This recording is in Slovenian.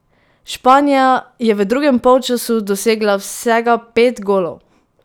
Španija je v drugem polčasu dosegla vsega pet golov!